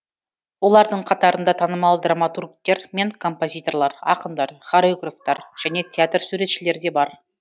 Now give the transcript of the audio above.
олардың қатарында танымал драматургтер мен композиторлар ақындар хореографтар және театр суретшілері де бар